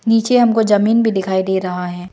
नीचे हमको जमीन भी दिखाई दे रहा है।